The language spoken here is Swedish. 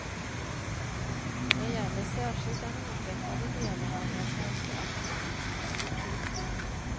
Det gäller särskilt den outvecklade delen av den svenska aktiemarknaden.